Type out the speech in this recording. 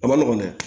A ma nɔgɔn dɛ